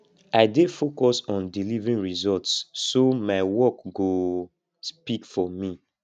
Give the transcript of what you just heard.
i dey focus on delivering results so my work go speak for me